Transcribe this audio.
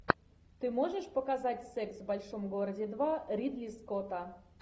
ты можешь показать секс в большом городе два ридли скотта